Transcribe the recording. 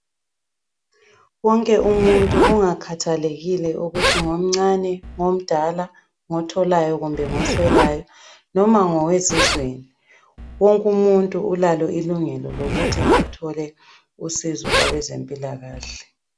Wonke umuntu, kungakhathalekile ukuthi ngomncane, ngomdala ngotholayo kumbe ngoswelayo noma ngowezizweni. Wonke umuntu ulalo ilungelo lokuthi athole usizo kwabezempilakahle.